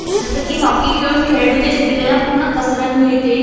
जसं की हॉकी खेळून खेळाडूच्या शरीराला पूर्ण कसरत मिळते.